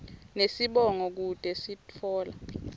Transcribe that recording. nesibongo kute sitfola